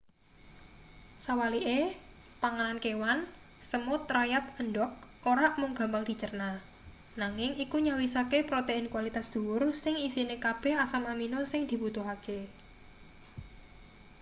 sawalike panganan kewan semut rayap endhog ora mung gampang dicerna nanging iku nyawisake protein kualitas dhuwur sing isine kabeh asam amino sing dibutuhake